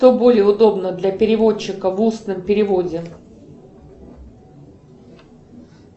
что более удобно для переводчика в устном переводе